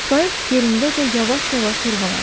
Qayıq yerindəcə yavaş-yavaş yırğalandı.